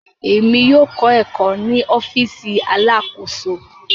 Èmi yóò kọ ẹkọ ni ọfiisi Alakoso.